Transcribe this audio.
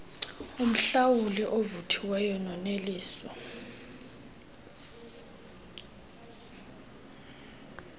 umhlalutyi ovuthiweyo noneliso